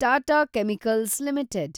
Tata chemicals limited